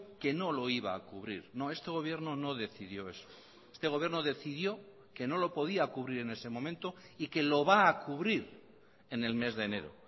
que no lo iba a cubrir no este gobierno no decidió eso este gobierno decidió que no lo podía cubrir en ese momento y que lo va a cubrir en el mes de enero